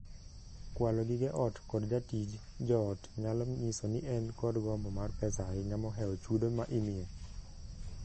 Kwalo gige ot kod jatich joot nyalo nyiso ni en kod gombo mar pesa ahinya mohewo chudo ma imiye.